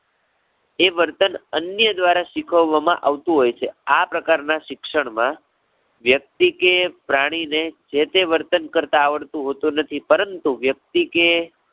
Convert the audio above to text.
એ વર્તન અન્ય દ્વારા શીખવવામાં આવતું હોય છે. આ પ્રકારના શિક્ષણ માં, વ્યક્તિ કે પ્રાણી ને જે-તે વર્તન કરતાં આવડતું હોતું નથી પરંતુ, વ્યક્તિ કે